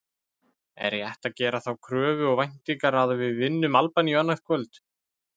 Er rétt að gera þá kröfu og væntingar að við vinnum Albaníu annað kvöld?